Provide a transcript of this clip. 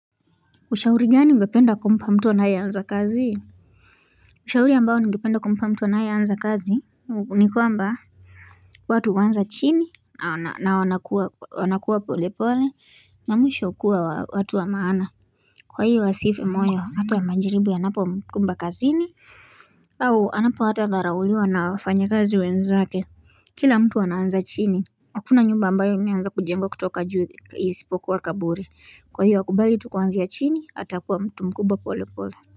Ushauri gani ungependa kumpa mtu anaye anza kazi? Ushauri ambao ngependa kumpa mtu anaye anza kazi nikwamba. Watu huanza chini na wanakuwa pole pole na mwisho kuwa watu wa maana. Kwa hii wa sifu moyo hata majiribu ya napo mkumba kazi ni. Au anapo hata dharauliwa na wafanyi kazi wenzake. Kila mtu ana anza chini. Hakuna nyumba ambayo imeanza kujengwa kutoka juu isipoku wa kaburi. Kwa hiyo wakubali tukuanzi ya chini hatakuwa mtu mkubwa pole pole.